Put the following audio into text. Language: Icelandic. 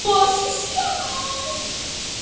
Gos í sjó